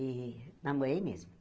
E namorei mesmo.